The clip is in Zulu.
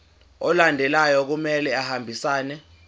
alandelayo kumele ahambisane